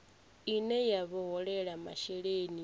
ine ya vha holela masheleni